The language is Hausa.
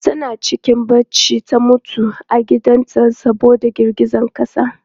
Tana cikin bacci ta mutu a gidan ta saboda girgizan ƙasa.